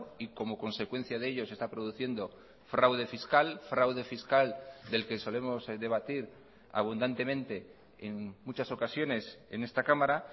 y como consecuencia de ello se está produciendo fraude fiscal fraude fiscal del que solemos debatir abundantemente en muchas ocasiones en esta cámara